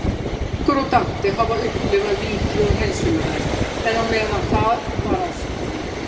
Þórbergur og Dante hafa upplifað víti og hreinsunareld, en á meðan það var ástkona